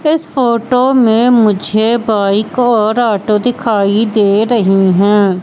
इस फोटो में मुझे बाइक और ऑटो दिखाई दे रही है।